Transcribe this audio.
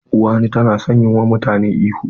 Uwani ta na son yi wa mutane ihu.